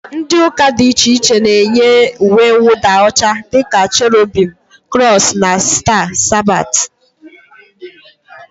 Ndị ụka dị iche iche na-eyi uwemwụda ọcha dịka cherubim, krọs na staa, sabat, dg